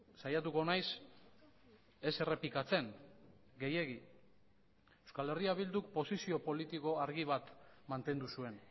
saiatuko naiz ez errepikatzen gehiegi euskal herria bilduk posizio politiko argi bat mantendu zuen